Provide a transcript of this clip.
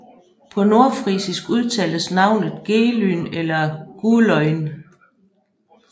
På nordfrisisk udtales navnet Gelün eller Gulønj